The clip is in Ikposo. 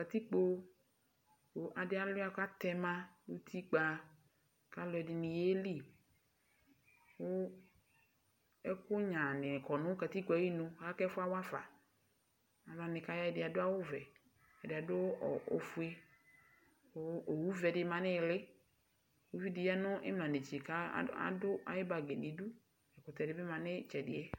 Katikpo kʋ adi aluia kʋ atɛma nʋ utikpa alʋɛdini yeli kʋ ɛkʋ nyaa ni kɔnʋ katikpo yɛ ayinʋ kʋ ɛfʋ yɛ awafa alʋwani ɛdi adʋ awʋvɛ ɛdi adʋ ofue owʋvɛ di manʋ iili ʋvi di yanʋ imla netse adʋ ayibagibdi nʋ idʋ ɛkʋtɛ dibi manʋ itsɛdi yɛ